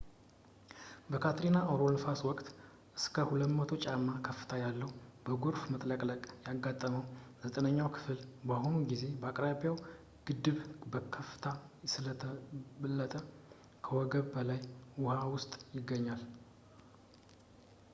በካትሪና አውሎነፋስ ወቅት እስከ 20 ጫማ ከፍታ ያለው በጎርፍ መጥለቅለቅ ያጋጠመው ዘጠነኛው ክፍል በአሁኑ ጊዜ የአቅራቢያው ግድብ በከፍታ ስለተበለጠ ከወገብ በላይ ውሃ ውስጥ ይገኛል